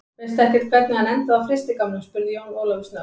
Veistu ekkert hvernig hann endaði á frystigámnum, spurði Jón Ólafur snöggt.